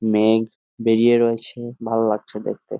মেঘ বেরিয়ে রয়েছে ভালো লাগছে দেখতে ।